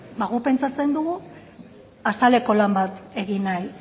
ba gu pentsatzen dugu azaleko lan bat